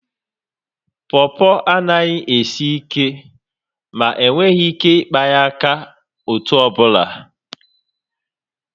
Pọpọ anaghi esi ike, ma enweghị ike ịkpa ya aka otú ọbụla